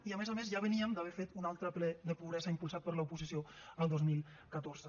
i a més a més ja veníem d’haver fet un altre ple de pobresa impulsat per l’oposició el dos mil catorze